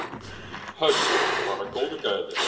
Hödd: Bara góðu gæjarnir?